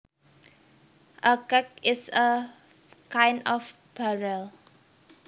A keg is a kind of barrel